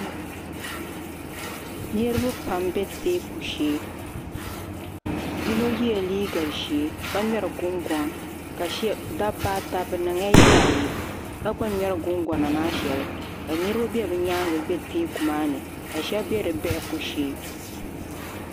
Niriba pam bɛ tɛɛku shɛ yino yɛla liiga zɛɛ ka ŋmɛri gungɔŋ dabba ata bi niŋ la yaa yi ka gba ŋmɛri gungɔna maa shɛli ka niriba bi yɛanga bɛ tɛɛku maa ni ka shɛb bɛ di biɛhigu shee.